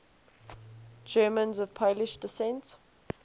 germans of polish descent